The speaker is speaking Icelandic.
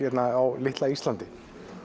á litla Íslandi